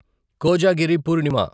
Kojagiri Purnima